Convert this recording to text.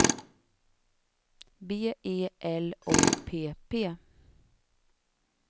B E L O P P